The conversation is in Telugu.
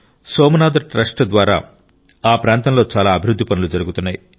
సోమనాథ్ ట్రస్ట్ ద్వారా ఆ ప్రాంతంలో చాలా అభివృద్ధి పనులు జరుగుతున్నాయి